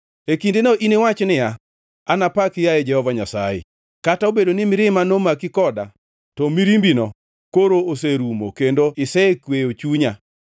E kindeno iniwach niya, “Anapaki, yaye Jehova Nyasaye. Kata obedo ni mirima nomaki koda to mirimbino, koro oserumo kendo isekweyo chunya.